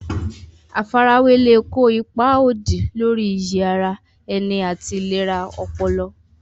Àfarawé lè kó ipa òdì lórí iyì ara ẹni àti ìlera ọpọlọ.